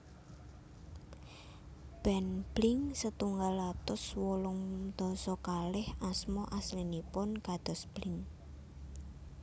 Band Blink setunggal atus wolung dasa kalih asma aslinipun kados Blink